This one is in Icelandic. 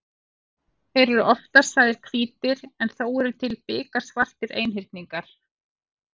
Þeir eru oftast sagðir hvítir en þó eru til biksvartir einhyrningar.